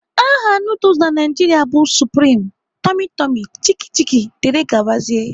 Aha nuduls na Naịjiria bụ supreme, tummy tummy, Chicki Chicki dgz